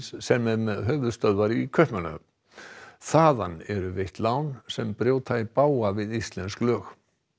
sem er með höfuðstöðvar í Kaupmannahöfn þaðan eru veitt lán sem brjóta í bága við íslensk lög